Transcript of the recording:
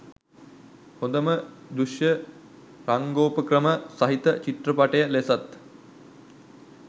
හොඳම දෘශ්‍ය රංගෝපක්‍රම සහිත චිත්‍රපටය ලෙසත්